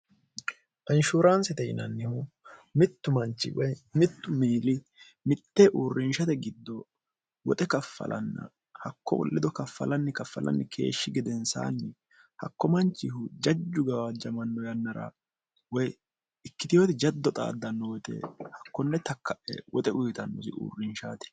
anshuuraansite yinannihu mittu manchi woy mittu miili mittee uurrinshate giddo woxe kaffalanna hakko lido kaffalanni kaffalanni keeshshi gedensaanni hakko manchihu jajju gawaajjamanno yannara woy ikkitiwoti jaddo xaaddanno woyite hakkonne takka'e woxe uyitannosi uurrinshaati